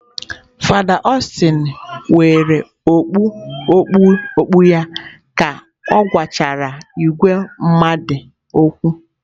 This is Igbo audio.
Fada Austin were okpu okpu okpu ya ka ọ gwachara ìgwè mmadụ okwu.